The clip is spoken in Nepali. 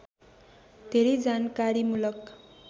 धेरै जानकारीमूलक